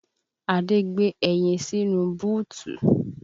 Adé gbé ẹyin sínú búùtù